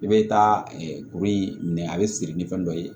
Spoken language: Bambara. I bɛ taa kuru in minɛ a bɛ siri ni fɛn dɔ ye